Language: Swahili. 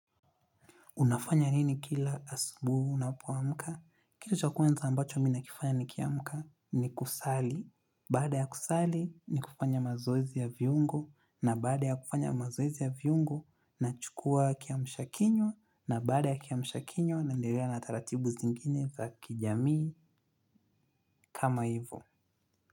Unafanya nini kila asubu, unapoamka? Kitu cha kwanza ambacho mi nakifanya nikiamka ni kusali. Baada ya kusali, ni kufanya mazoezi ya viungo. Na baada ya kufanya mazoezi ya viungo, na chukua kiamsha kinywa. Na baada ya kiamsha kinywa, naenderea na taratibu zingine za kijamii. Kama hivo.